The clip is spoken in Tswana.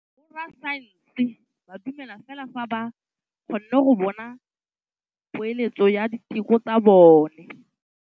Borra saense ba dumela fela fa ba kgonne go bona poeletsô ya diteko tsa bone.